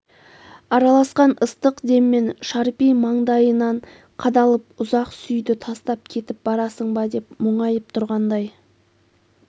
араласқан ыстық деммен шарпи маңдайынан қадалып ұзақ сүйді тастап кетіп барасың ба деп мұңайып тұрғандай